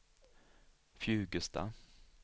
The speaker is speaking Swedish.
Fjugesta